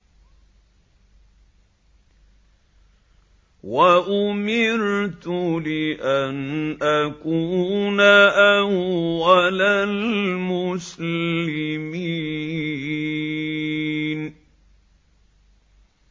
وَأُمِرْتُ لِأَنْ أَكُونَ أَوَّلَ الْمُسْلِمِينَ